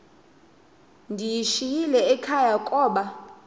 ndiyishiyile ekhaya koba